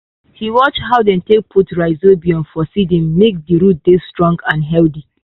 he watch how dem take put rhizobium for seedlings make di root dey strong and healthy.